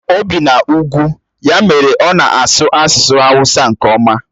O bi n'ugwu, ya mere ọ na-asụ asusu hawusa nke oma.